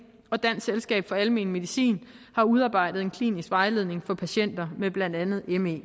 og dansk selskab for almen medicin har udarbejdet en klinisk vejledning for patienter med blandt andet me